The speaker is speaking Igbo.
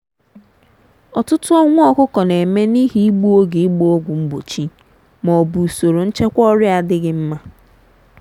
ọtụtụ ọnwụ ọkụkọ na-eme n’ihi igbu oge ịgba ọgwụ mgbochi ma ọ bụ usoro nchekwa ọrịa adịghị mma.